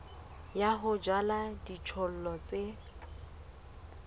ya ho jala dijothollo tse